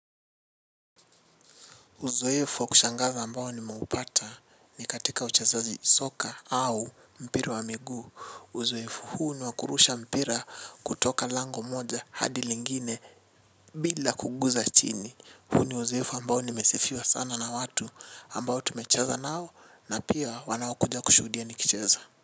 Uzoefu wa kushangaza ambao ni meupata ni katika uchezaji soka au mpira wa migu uzoefu huu ni wa kurusha mpira kutoka lango moja hadi lingine bila kuguza chini huu ni uzoefu ambao nimesifiwa sana na watu ambao tumecheza nao na pia wanaokuja kushuhudia nikicheza.